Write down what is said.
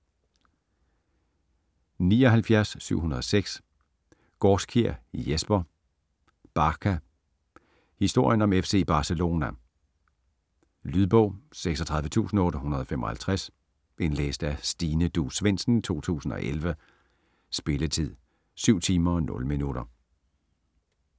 79.706 Gaarskjær, Jesper: Barca: historien om FC Barcelona Lydbog 36855 Indlæst af Stine Duus Svendsen, 2011. Spilletid: 7 timer, 0 minutter.